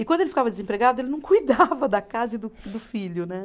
E quando ele ficava desempregado, ele não cuidava da casa e do do filho, né?